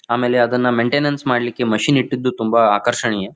ಆಮೇಲೆ ಅದನ್ನು ಮೇಂಟೈನ್ನ್ಸ್ ಮಾಡ್ಲಿಕ್ಕೆ ಮಿಶನ್ ಇಟ್ಟಿದ್ದು ತುಂಬಾ ಆಕರ್ಷಣೀಯ--